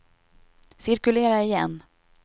cirkulera igen